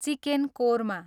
chicken korma